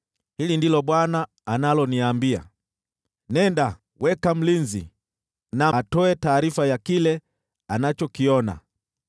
Hili ndilo Bwana analoniambia: “Nenda, weka mlinzi, na atoe taarifa ya kile anachokiona.